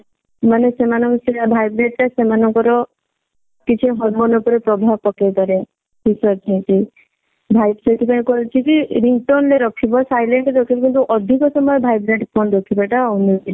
ମାନେ ସେମଙ୍କର vibrate ଟା ସେମାନଙ୍କ ର କିଛି hormone ଉପରେ ପ୍ରଭାବ ପକେଇ ପାରେ ସେଥିପାଇଁ କହିଛି କି ringtone ରେ ରଖିବ silent ରେ ରଖିବ କିନ୍ତୁ ଅଧିକ ସମୟ virate phone ରଖିବା ଟା ଅନୁଚିତ।